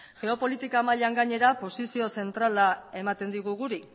geopolitika mailan gainera posizio zentrala ematen digu guri